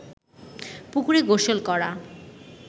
পুকুরে গোসল করা